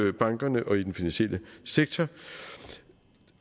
i bankerne og i den finansielle sektor